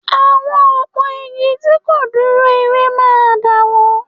Àwọn òpó igi tí kò dúró ire máa dàwó